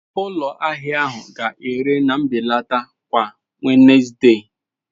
Ụlọ ahịa ahụ ga-ere na mbelata kwa Wednesde.